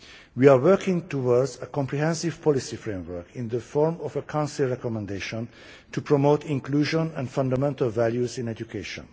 We are working towards a comprehensive policy framework in the form of a Council recommendation to promote inclusion and fundamental values in education.